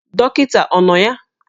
Dọkịta ọ nọ ya?